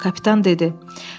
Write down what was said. Kapitan dedi.